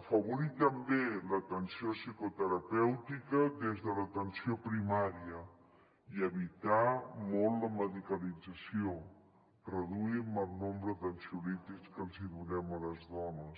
afavorir també l’atenció psicoterapèutica des de l’atenció primària i evitar molt la medicalització reduir el nombre d’ansiolítics que els donem a les dones